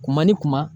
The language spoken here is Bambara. Kuma ni kuma